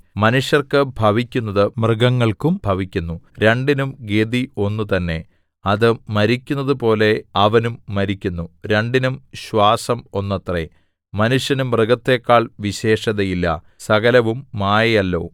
മനുഷ്യർക്ക് ഭവിക്കുന്നത് മൃഗങ്ങൾക്കും ഭവിക്കുന്നു രണ്ടിനും ഗതി ഒന്ന് തന്നേ അത് മരിക്കുന്നതുപോലെ അവനും മരിക്കുന്നു രണ്ടിനും ശ്വാസം ഒന്നത്രേ മനുഷ്യന് മൃഗത്തെക്കാൾ വിശേഷതയില്ല സകലവും മായയല്ലോ